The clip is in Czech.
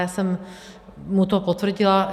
Já jsem mu to potvrdila.